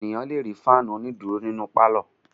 Ènìyàn le rí fáánù onídùúró nínu pálọ̀.